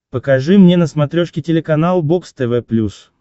покажи мне на смотрешке телеканал бокс тв плюс